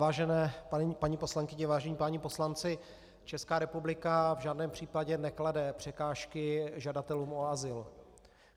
Vážené paní poslankyně, vážení páni poslanci, Česká republika v žádném případě neklade překážky žadatelům o azyl.